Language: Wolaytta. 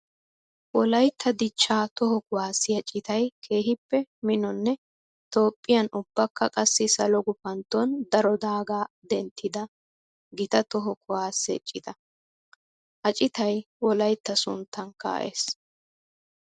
Wolaytta dichcha toho kuwasiya citay keehippe minonne Toophphiyan ubbakka qassi salo gufantton daro daaga denttidda gita toho kuwase cita. Ha citay wolaytta sunttan kaa'es.